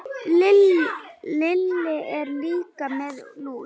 Lilla er líka með lús.